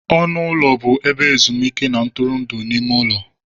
Ọnụ ụlọ bụ ebe ezumuike na ntụrụndụ n'ime ụlọ.